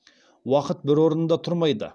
уақыт бір орнында тұрмайды